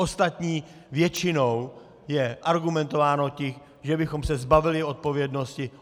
Ostatně většinou je argumentováno tím, že bychom se zbavili odpovědnosti.